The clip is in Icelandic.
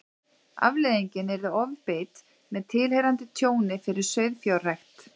Afleiðingin yrði ofbeit með tilheyrandi tjóni fyrir sauðfjárrækt.